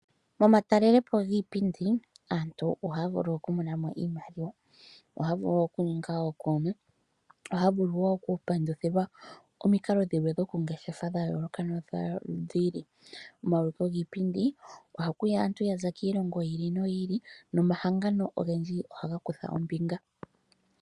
Momatalelepo giipindi, aantu ohaa vulu okumonamo iimaliwa, ohaa vulu okuninga ookoona, ohaa vulu wo okupanduthilwa omikalo dhilwe dha yooloka nodhiili. Omauliko giipindi, ohakuya aantu yaza kiilongo yi ili noyi ili, nomahangano ogendji ohaga kutha ombinga.